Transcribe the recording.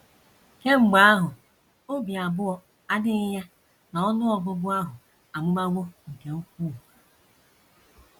Kemgbe ahụ, obi abụọ adịghị ya na ọnụ ọgụgụ ahụ amụbawo nke ukwuu.